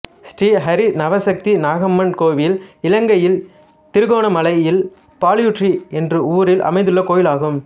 ஸ்ரீ ஹரி நவசக்தி நாகம்மன் கோயில் இலங்கையில் திருகோணமலையில் பாலையூற்று என்ற ஊரில் அமைந்துள்ள கோயில் ஆகும்